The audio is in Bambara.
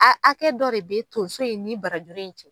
A hakɛ dɔ de bɛ tonso ni barajuru in cɛ.